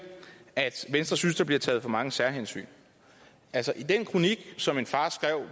at venstre synes der bliver taget for mange særhensyn altså i den kronik som en far skrev